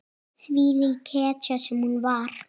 Þvílík hetja sem hún var.